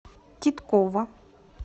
титкова